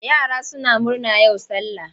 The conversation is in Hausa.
Yara suna murna yau sallah.